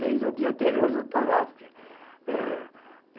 Desde o dia anterior já está lá porque ãh